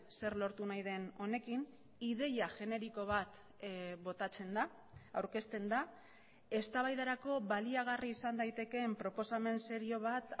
zer lortu nahi den honekin ideia generiko bat botatzen da aurkezten da eztabaidarako baliagarri izan daitekeen proposamen serio bat